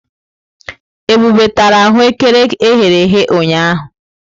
Ebube tara aghù ékẹrè e ghere eghe ụnyahụ.